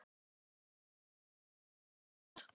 Ég smeygi mér inn til hennar.